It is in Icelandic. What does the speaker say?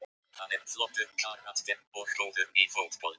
Hann er flottur karakter og góður í fótbolta.